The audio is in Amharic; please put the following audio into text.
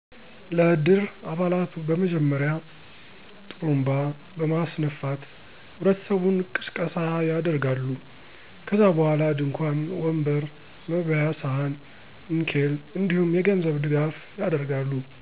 ለ እድር አባላቱ በመጀመሪያ ..ጥሩንባ በማስነፋት ህብረተሰቡን ቅስቀሳ ያደርጋሉ .ከዛ በኋላ ድንኳን፣ ወንበር፣ መበያ ሰሀን፣ ንኬል፣ እንዲሁም የገንዘብ ድጋፉ ያደርጋሉ።